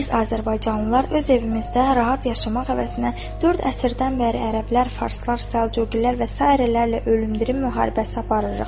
Biz azərbaycanlılar öz evimizdə rahat yaşamaq əvəzinə dörd əsrdən bəri ərəblər, farslar, səlcuqilər və sairərlə ölümdürüm mübarizəsi aparırıq.